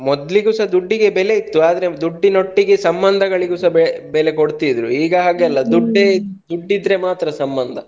ಮೊದ್ಲಿಗುಸಾ ದುಡ್ಡಿಗೆ ಬೆಲೆ ಇತ್ತು ಆದ್ರೆ ದುಡ್ಡಿನೊಟ್ಟಿಗೆ ಸಂಬಂಧಗಳಿಗೂಸ ಬೆಲೆ ಕೊಡ್ತಿದ್ರು ಈಗ ದುಡ್ಡು ಇದ್ರೆ ಮಾತ್ರ ಸಂಬಂಧ.